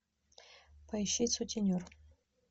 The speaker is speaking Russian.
поищи сутенер